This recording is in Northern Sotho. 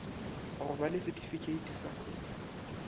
go ba le setifikheiti sa